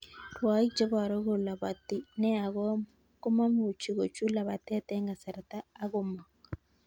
Rwaik cheboru kolaboti nea komomuchi kochut labatet eng' kasarta ak komong.